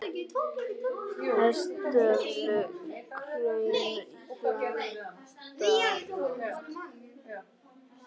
Hestöfl krauma, hjarta rótt.